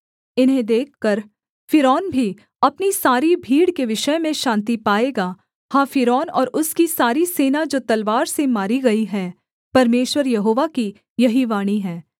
इन्हें देखकर फ़िरौन भी अपनी सारी भीड़ के विषय में शान्ति पाएगा हाँ फ़िरौन और उसकी सारी सेना जो तलवार से मारी गई है परमेश्वर यहोवा की यही वाणी है